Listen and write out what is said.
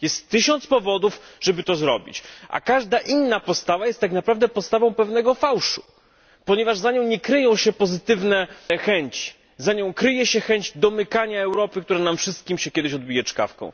Jest tysiąc powodów, żeby to zrobić, a każda inna postawa jest tak naprawdę postawą pewnego fałszu, ponieważ za nią nie kryją się pozytywne chęci za nią kryje się chęć domykania Europy, która nam wszystkim się kiedyś odbije czkawką.